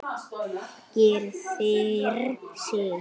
Gyrðir sig.